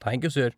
Thank you you, sir.